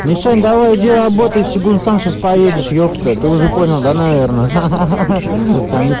мишаня давай иди работай сёгун сам сейчас поедешь епта ты уже понял да наверное ахаха там ес